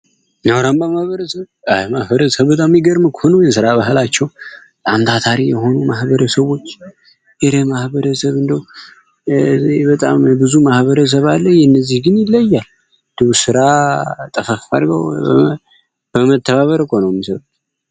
ነውራንባ ማህበረ ሰብ አህ ማህበረ ሰብ በጣም ይገርምክ ሆኖ የሥራ ባህላቸው አንታታሪ የሆኑ ማህበረ ሰዎች የሬ ማህበረ ሰብ እንዶ በጣምብዙ ማህበረ ሰባለ የነዚህ ግን ይለያል ድቡ ሥራ ጠፈፋድገው በመተባበር ቆኖሚ ሰሩት